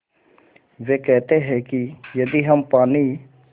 वे कहते हैं कि यदि हम पानी